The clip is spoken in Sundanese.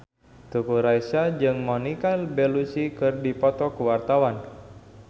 Teuku Rassya jeung Monica Belluci keur dipoto ku wartawan